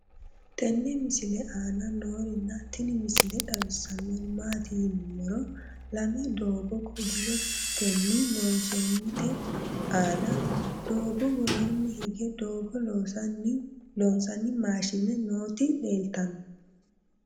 tenne misile aana noorina tini misile xawissannori maati yinummoro lame doogo kobilettinni loonsoonnitte aanna doogo woroonni hige doogo loosanni maashinne nootti leelittanno